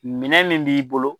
Minɛn min b'i bolo